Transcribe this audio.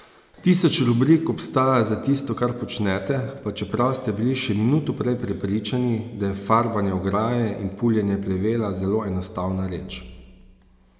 Tisoč rubrik obstaja za tisto kar počnete pa čeprav ste bili še minuto prej prepričani, da je farbanje ograje ali puljenje plevela zelo enostavna reč.